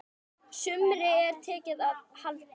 Sumri er tekið að halla.